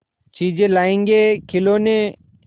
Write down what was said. चीजें लाएँगेखिलौने